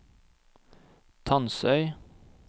Tansøy